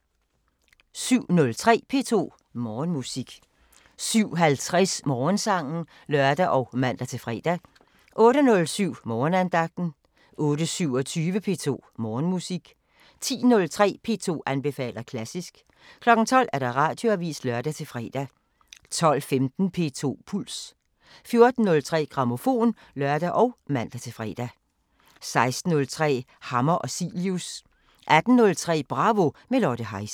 07:03: P2 Morgenmusik 07:50: Morgensangen (lør og man-fre) 08:07: Morgenandagten 08:27: P2 Morgenmusik 10:03: P2 anbefaler klassisk 12:00: Radioavisen (lør-fre) 12:15: P2 Puls 14:03: Grammofon (lør og man-fre) 16:03: Hammer og Cilius 18:03: Bravo – med Lotte Heise